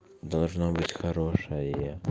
должна быть хорошая